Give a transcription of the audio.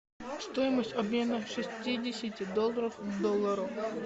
стоимость обмена шестидесяти долларов к доллару